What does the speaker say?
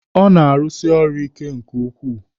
Ọ na-arusi ọrụ ike nke ukwuu.